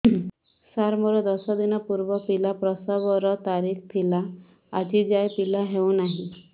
ସାର ମୋର ଦଶ ଦିନ ପୂର୍ବ ପିଲା ପ୍ରସଵ ର ତାରିଖ ଥିଲା ଆଜି ଯାଇଁ ପିଲା ହଉ ନାହିଁ